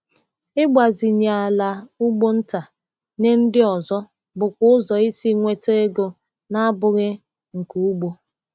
Ịgbazinye ala ugbo nta nye ndị ọzọ bụkwa ụzọ isi nweta ego na-abụghị nke ugbo.